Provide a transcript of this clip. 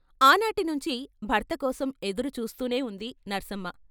ఆనాటి నుంచి భర్త కోసం ఎదురు చూస్తూనే ఉంది సర్సమ్మ.